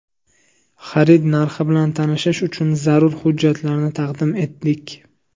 Xarid narxi bilan tanishish uchun zarur hujjatlarni taqdim etdik.